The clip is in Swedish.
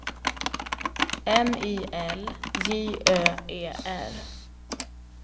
M I L J Ö E R